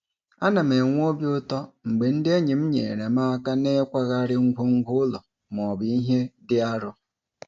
Ana m enwe obi ụtọ mgbe ndị enyi m nyeere m aka n'ịkwagharị ngwongwo ụlọ maọbụ ihe dị arọ.